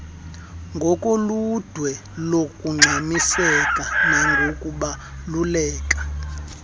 ngokoludwe longxamiseko nangokubaluleka